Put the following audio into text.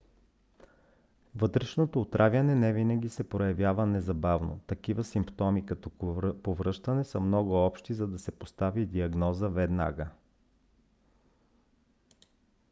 вътрешното отравяне не винаги се проявява незабавно. такива симптоми като повръщане са много общи за да се постави диагноза веднага